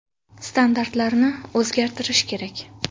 Standartlarni o‘zgartirish kerak.